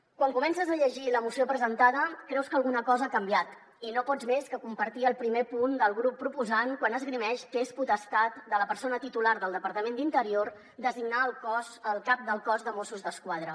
quan comences a llegir la moció presentada creus que alguna cosa ha canviat i no pots més que compartir el primer punt del grup proposant quan esgrimeix que és potestat de la persona titular del departament d’interior designar el cap del cos de mossos d’esquadra